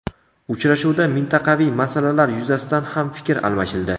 Uchrashuvda mintaqaviy masalalar yuzasidan ham fikr almashildi.